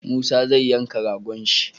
Musa zai yanka ragon shi